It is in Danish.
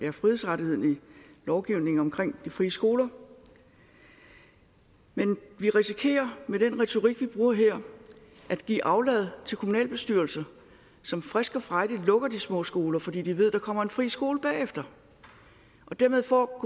af frihedsrettigheden i lovgivningen om de frie skoler men vi risikerer med den retorik vi bruger her at give aflad til kommunalbestyrelser som frisk og frejdigt lukker de små skoler fordi de ved at der kommer en friskole bagefter og dermed får